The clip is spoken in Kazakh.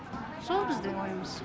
сол біздің ойымыз